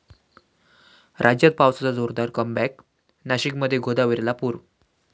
राज्यात पावसाचं जोरदार 'कमबॅक', नाशिकमध्ये गोदावरीला पूर!